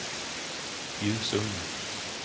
Gusum